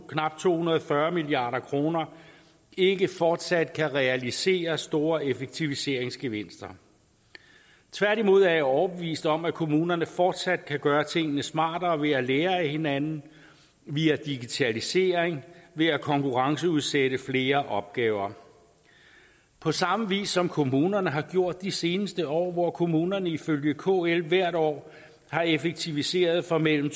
knap to hundrede og fyrre milliard kroner ikke fortsat kan realisere store effektiviseringsgevinster tværtimod er jeg overbevist om at kommunerne fortsat kan gøre tingene smartere ved at lære af hinanden via digitalisering ved at konkurrenceudsætte flere opgaver på samme vis som kommunerne har gjort de seneste år hvor kommunerne ifølge kl hvert år har effektiviseret for mellem